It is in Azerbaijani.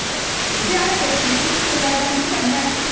Ziyarət etdiyi ilk yerlərdən biri də məhçid idi.